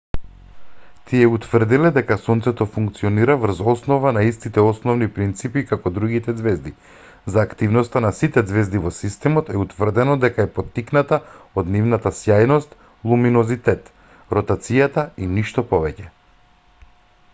тие утврдиле дека сонцето функционира врз основа на истите основни принципи како другите ѕвезди: за активноста на сите ѕвезди во системот е утврдено дека е поттикната од нивната сјајност луминозитет ротацијата и ништо повеќе